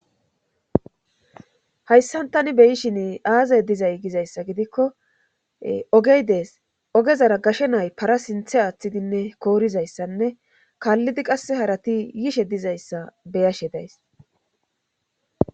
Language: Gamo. Hayssantani be yishin aazay dizay gizayssa gidikko ogey dees ogezara gashe nay para sinthe aaththidinne koorizayssanne kaallidi qasse harati yishe dizayssa beyashe days.